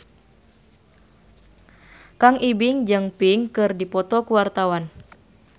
Kang Ibing jeung Pink keur dipoto ku wartawan